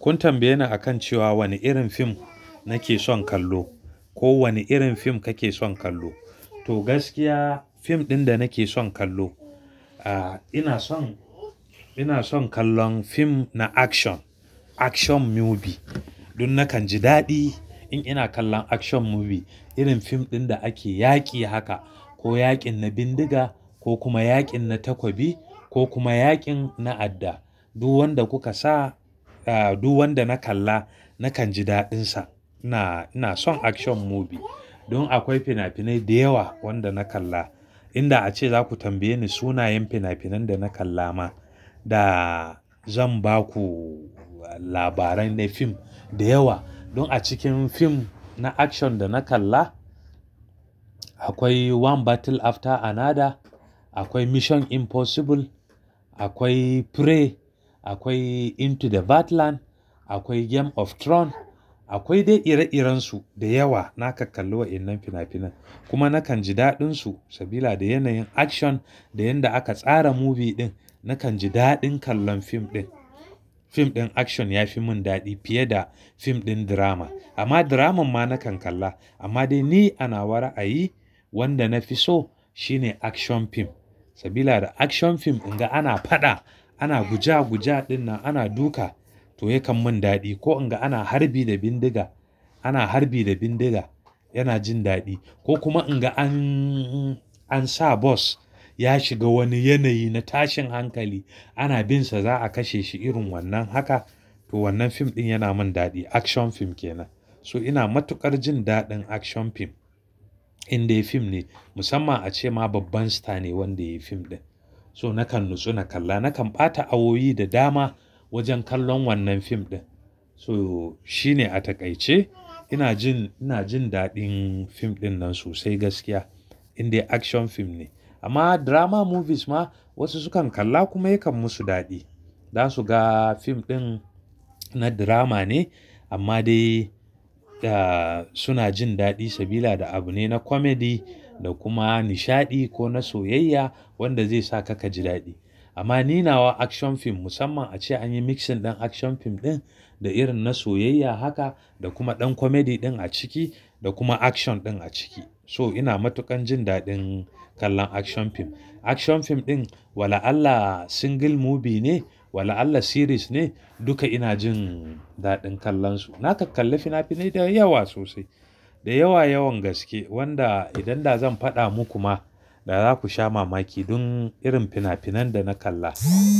Kun tambaye ni akan cewa wane irin fim nake son kallo ko wane irin fim kake son kallo. To gaskiya fim ɗin da nake son kallo, ah ina son, ina son kallon fim na action, action movie. Dun nakan ji daɗi in ina kallon action movie. Irin fim ɗin da ake yaƙi haka ko yaƙin na bindiga ko kuma yaƙin na takobi ko kuma yaƙin na adda. Duk wanda kuka sa, ah duk wanda na kalla nakan ji daɗinsa. Ina, ina son action movie. Don akwai fina-finai da yawa wanda na kalla. Inda ace zaku tambaye ni sunayen fina-finan da na kalla ma da zan ba ku labarai na fim da yawa. Dun a cikin fim na action da na kalla akwai One Battle After Another, akwai Mission Impossible, akwai Prey, akwai Into the Bad Land, akwai Game of Throne, akwai dai ire-irensu da yawa na kak kalli wa innan fina-finan. Kuma nakan ji daɗinsu sabida yanayin action da yanda aka tsara movie ɗin nakan ji daɗin kallon fim ɗin. Fim ɗin action yafi mun daɗi fiye da fim ɗin drama. Amma drama ma nakan kalla. Amma dai ni anawa ra'ayi wanda na fi so shine action fim sabida da action fim idan ana faɗa ana guja guja dinnan ana duka to yakan mun daɗi. Ko idan ana harbi da bindiga, ana harbi da bindiga yana jin daɗi. Ko kuma idan an, an sa bas ya shiga wani yanayi na tashin hankali ana binsa za'a kashe shi irin wannan haka to wannan fim ɗin yana mun daɗi. Action fim kenan. So ina matuƙar jin daɗin action fim. Indai fim ne musamman ace ma babban sita ne wanda ya yi fim ɗin. So nakan natsu na kalla nakan ɓata awowi da dama wajen kallon wannan fim ɗin. So shi ne a taƙaice ina jin, ina jin daɗin fim ɗin nan sosai gaskiya indai action fim ne. Amma drama movies ma wasu sukan kalla kuma yakan musu daɗi. Zasu ga fim ɗin na drama ne amma dai da suna jin daɗi sabida da abu ne na comedy da kuma nishaɗi ko na soyayya wanda zai saka ka ji daɗi. Amma ni nawa action fim musamman ace anyi mixing ɗin action fim ɗin da irin na soyayya haka da kuma ɗan comedy ɗin a ciki da kuma action ɗin a ciki. So ina matuƙan jin daɗin kallon action fim. Action fim ɗin wala Allah single movie ne wala Allah series ne duka ina jin daɗin kallon su. Na kak kallo fina-finai da yawa sosai, da yawa yawan gaske wanda idan da zan faɗa muku ma da zaku sha mamaki dun irin fina-finan da na kalla